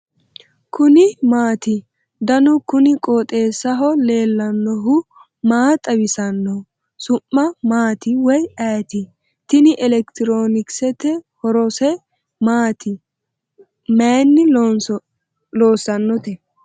kuni maati ? danu kuni qooxeessaho leellannohu maa xawisanno su'mu maati woy ayeti ? tini elekitiroonkisete . horose maati mayinni loossannote ?